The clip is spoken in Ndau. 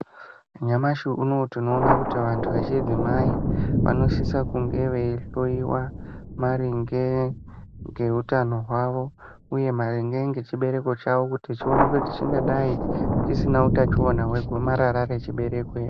Nyamashi unowu tinoona kuti vantu vechidzimai vanosisa kunge veihlowiwa maringe ngeutano hwavo uye maringe ngechibereko chavo kuti chionekwe kuti chingadai chisina utachiwana hwegomarara rechibereko here.